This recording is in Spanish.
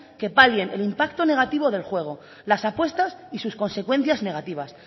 que palien el impacto negativo del juego las apuestas y sus consecuencias negativas